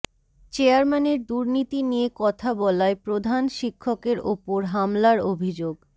চেয়ারম্যানের দুর্নীতি নিয়ে কথা বলায় প্রধান শিক্ষকের ওপর হামলার অভিযোগ